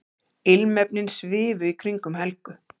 Ilmefnin svifu í kringum Helgu.